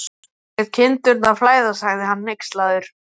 Hún lét kindurnar flæða, sagði hann hneykslaður.